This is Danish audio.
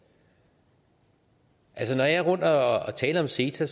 når jeg er rundtomkring og taler om ceta